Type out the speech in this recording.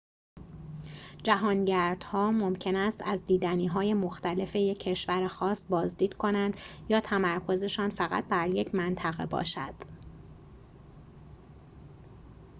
جهانگردها ممکن است از دیدنی‌های مختلف یک کشور خاص بازدید کنند یا تمرکزشان فقط بر یک منطقه باشد